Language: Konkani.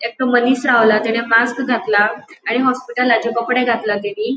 एकटो मनिस रावला तेणे मास्क घातला आणि हॉस्पिटला चे कपड़े घातला तेणि --